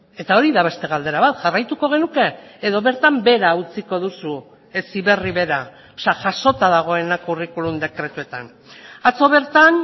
eta hori da beste galdera bat jarraituko genuke edo bertan behera utziko duzu heziberri bera jasota dagoena curriculum dekretuetan atzo bertan